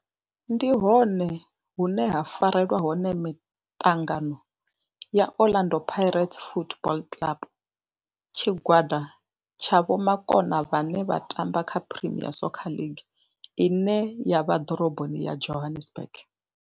Ndi hone hune havha haya hune ha farelwa hone miṱangano ya Orlando Pirates Football Club. Tshigwada tsha vhomakone vhane vha tamba kha Premier Soccer League ine ya vha ḓorobo ya Johannesburg.